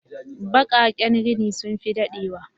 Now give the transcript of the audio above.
Bakaƙen rini sun fi daɗe wa